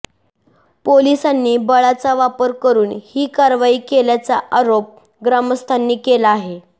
पोलिसांनी बळाचा वापर करुन ही कारवाई केल्याचा आरोप ग्रामस्थांनी केला आहे